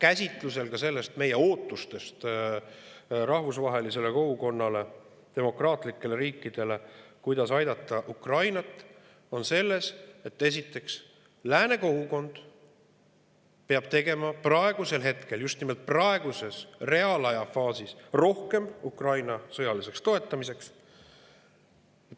Meie käsitlus ootustest rahvusvahelisele kogukonnale, demokraatlikele riikidele, kuidas aidata Ukrainat, on esiteks selline, et lääne kogukond peab tegema just nimelt praeguses reaalajafaasis rohkem Ukraina sõjaliseks toetamiseks.